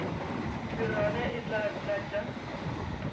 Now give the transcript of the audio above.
se rage e tla tlatša